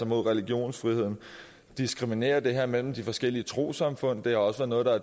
mod religionsfriheden diskriminerer det her mellem de forskellige trossamfund det er også noget der